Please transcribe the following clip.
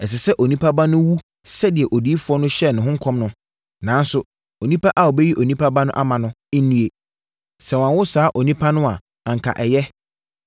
Ɛsɛ sɛ Onipa Ba no wu sɛdeɛ odiyifoɔ no hyɛɛ ne ho nkɔm no; nanso onipa a ɔbɛyi Onipa Ba no ama no, nnue! Sɛ wanwo saa onipa no a, anka ɛyɛ.”